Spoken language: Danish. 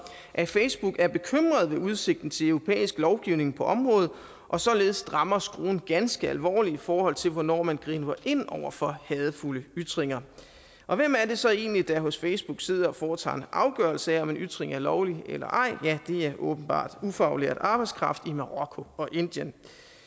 at facebook er bekymret ved udsigten til europæisk lovgivning på området og således strammer skruen ganske alvorligt i forhold til hvornår man griber ind over for hadefulde ytringer og hvem er det så egentlig der hos facebook sidder og foretager en afgørelse af om en ytring er lovlig eller ej ja det er åbenbart ufaglært arbejdskraft i marokko og indien